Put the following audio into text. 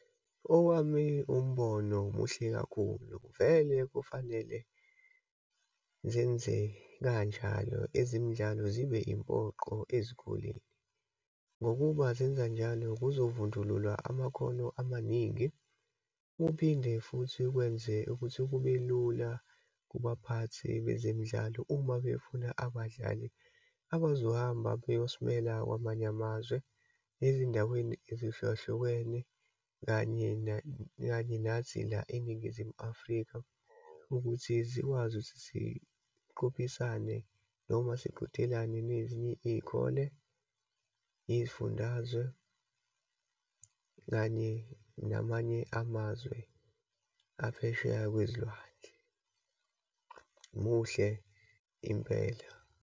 Owami umbono muhle kakhulu. Vele kufanele zenze kanjalo, ezimidlalo zibe impoqo ezikoleni ngokuba zenza njalo kuzovundululwa amakhono amaningi. Kuphinde futhi kwenze ukuthi kube lula kubaphathi bezemidlalo uma befuna abadlali abazohamba bayosimela kwamanye amazwe, ezindaweni ezihlukahlukene kanye kanye nathi la eNingizimu Afrika. Ukuthi zikwazi ukuthi siqophisane noma siqhudelana nezinye iyikole, iyizifundazwe, kanye namanye amazwe aphesheya kwezilwandle. Muhle impela.